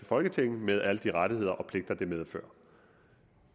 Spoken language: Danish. folketing med alle de rettigheder og pligter det medfører